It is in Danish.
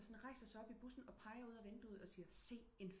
Der sådan rejser sig op i bussen og pejer ud af vinduet og siger se